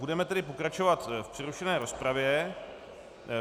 Budeme tedy pokračovat v přerušené rozpravě.